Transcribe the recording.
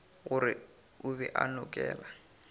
gore o be a nokela